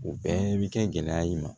O bɛɛ bi kɛ gɛlɛya ye i ma